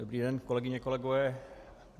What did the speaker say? Dobrý den, kolegyně, kolegové.